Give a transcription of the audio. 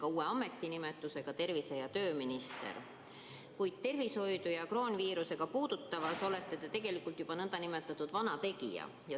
Teil on ka uus ametinimetus – tervise- ja tööminister –, kuid tervishoidu ja kroonviirust puudutavas olete te tegelikult juba nn vana tegija.